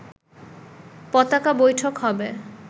পতাকা বৈঠক হবে